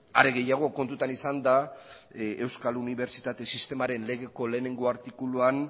are gehiago kontutan izanda euskal unibertsitate sistemaren legeko lehenengo artikuluan